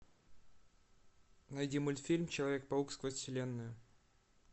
найди мультфильм человек паук сквозь вселенную